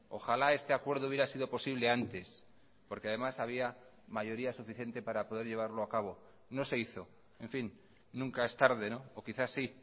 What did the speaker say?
ojalá este acuerdo hubiera sido posible antes porque además había mayoría suficiente para poder llevarlo a cabo no se hizo en fin nunca es tarde o quizás sí